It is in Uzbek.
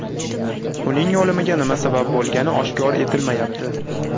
Uning o‘limiga nima sabab bo‘lgani oshkor etilmayapti.